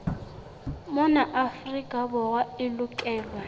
mona afrika borwa e lokelwa